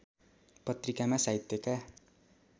पत्रिकामा साहित्यका